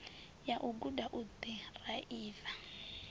ya u guda u ḓiraiva